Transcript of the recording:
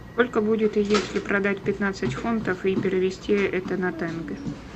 сколько будет если продать пятнадцать фунтов и перевести это на тенге